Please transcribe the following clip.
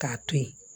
K'a to yen